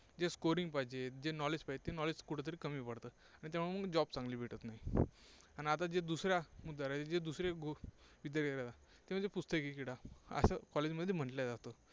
जे Scoring पाहिजे, जे knowledge पाहिजे, ते knowledge कुठे तरी कमी पडते. तेव्हा मग job चांगली भेटत नाही. आणि आता जे दुसरा मुद्दा जे दुसरे विद्यार्थी ते म्हणजे पुस्तकी किडा असं कॉलेजमध्ये म्हटलं जातं.